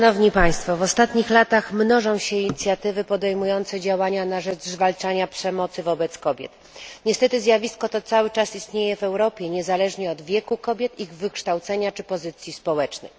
W ostatnich latach mnożą się inicjatywy podejmujące działania na rzecz zwalczania przemocy wobec kobiet. Niestety zjawisko to cały czas istnieje w Europie niezależnie od wieku kobiet, ich wykształcenia, czy pozycji społecznej.